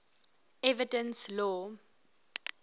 evidence law